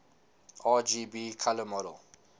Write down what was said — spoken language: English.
rgb color model